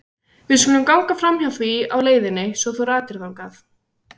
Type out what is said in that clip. Við skulum ganga framhjá því á leiðinni svo þú ratir þangað.